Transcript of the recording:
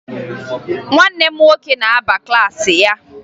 Nwanne m nwoke na-aba na klaasị ya